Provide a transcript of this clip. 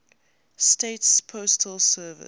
states postal service